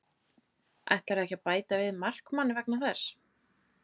Ætlarðu ekki að bæta við markmanni vegna þess?